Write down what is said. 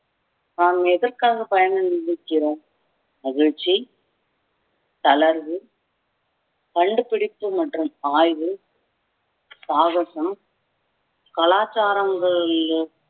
நாம் எதற்காக பயண நினைக்கிறோம் மகிழ்ச்சி தளர்வு கண்டுபிடிப்பு மற்றும் ஆய்வு சாகசம் கலாச்சாரங்களில்